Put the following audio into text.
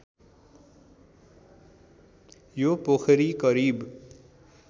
यो पोखरी करिब